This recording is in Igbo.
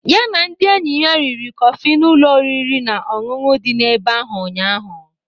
Ya na ndị enyi ya riri kọfị n'ụlọ oriri na ọṅụṅụ dị n'ebe ahụ ụnyaahụ.